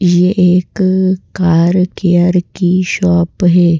ये एक car care की शॉप हैं।